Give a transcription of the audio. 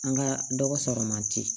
An ka dɔgɔ sɔrɔ man di